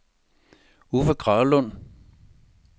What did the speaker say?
Uffe Kragelund